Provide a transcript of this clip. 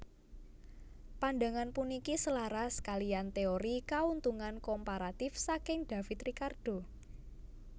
Pandangan puniki selaras kaliyan téori Kauntungan Komparatif saking David Ricardo